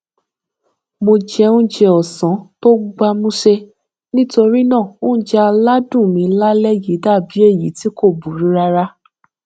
mo jẹ oúnjẹ òsán tó gbámúṣé nítorí náà oúnjẹ aládùn mi lálé yìí dàbí èyí tí kò burú rárá